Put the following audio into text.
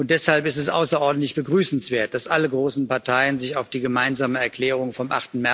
Deshalb ist es außerordentlich begrüßenswert, dass alle großen Parteien sich auf die gemeinsame Erklärung vom